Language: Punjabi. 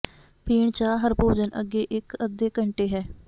ਪੀਣ ਚਾਹ ਹਰ ਭੋਜਨ ਅੱਗੇ ਇੱਕ ਅੱਧੇ ਘੰਟੇ ਹੈ